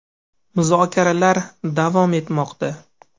Muzokaralar davom etmoqda.